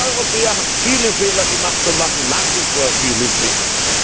Wir Europäer haben viele Fehler gemacht und machen nach wie vor viele Fehler.